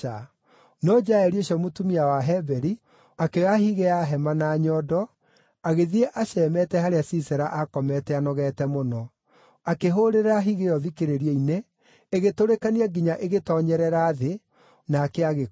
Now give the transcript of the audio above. No Jaeli ũcio mũtumia wa Heberi akĩoya higĩ ya hema na nyondo, agĩthiĩ acemete harĩa Sisera aakomete anogete mũno. Akĩhũũrĩrĩra higĩ ĩyo thikĩrĩrio-inĩ, ĩgĩtũrĩkania nginya igĩtoonyerera thĩ, nake agĩkua.